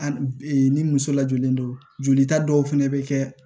Ani ni muso lajɔlen don jolita dɔw fɛnɛ bɛ kɛ